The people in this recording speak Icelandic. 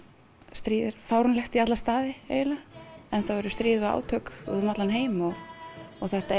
stríð er fáránlegt í alla staði enn þá eru stríð og átök út um allan heim og þetta